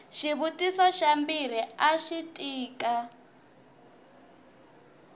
xivutiso xa mbirhi axi tika